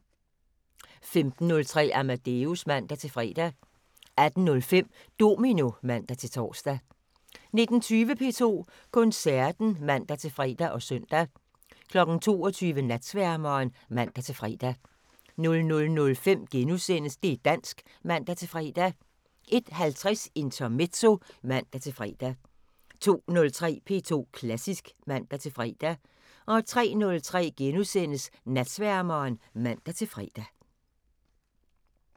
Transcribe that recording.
15:03: Amadeus (man-fre) 18:05: Domino (man-tor) 19:20: P2 Koncerten (man-fre og søn) 22:00: Natsværmeren (man-fre) 00:05: Det' dansk *(man-fre) 01:50: Intermezzo (man-fre) 02:03: P2 Klassisk (man-fre) 03:03: Natsværmeren *(man-fre)